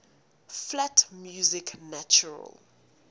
flat music natural